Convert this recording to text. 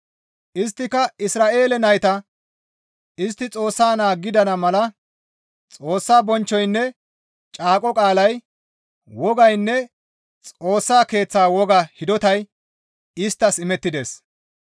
Isttika Isra7eele nayta; istti Xoossa naa gidana mala Xoossa bonchchoynne caaqo qaalay, wogaynne Xoossa Keeththa woga hidotay isttas imettides.